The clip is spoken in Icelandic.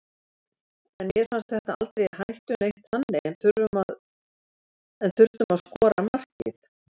En mér fannst þetta aldrei í hættu neitt þannig en þurftum að skora markið.